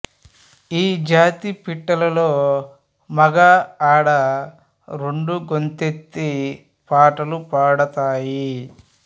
ఈ జాతి పిట్టలలో మగ ఆడ రెండూ గొంతెత్తి పాటలు పాడతాయి